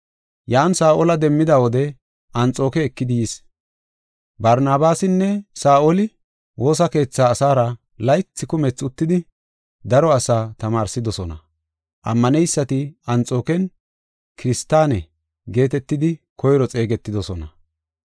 Yan Saa7ola demmida wode Anxooke ekidi yis. Barnabaasinne Saa7oli woosa keetha asaara laythi kumethi uttidi daro asaa tamaarsidosona. Ammaneysati Anxooken “Kiristaane” geetetidi koyro xeegetidosona.